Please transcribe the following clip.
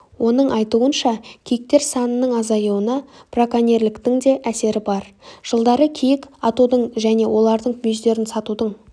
оның айтуынша киіктер санының азаюына брокенерліктің де әсері бар жылдары киік атудың және олардың мүйіздерін сатудың